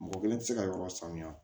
Mɔgɔ kelen tɛ se ka yɔrɔ sanuya